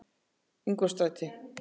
Ingólfsstræti